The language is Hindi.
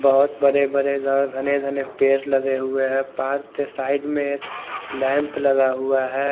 बहोत बड़े बड़े और घने घने पेड़ लगे हुए है पार्क के साइड में लैंप लगा हुआ है।